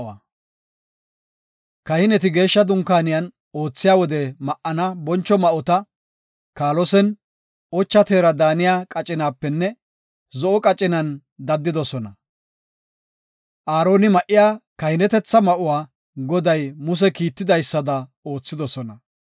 Kahineti Geeshsha Dunkaaniyan oothiya wode ma7ana boncho ma7ota, kaalosen, ocha teera daaniya qacinapenne zo7o qacinan daddidosona. Aaroni ma7iya kahinetetha ma7uwa Goday Muse kiitidaysada oothidosona.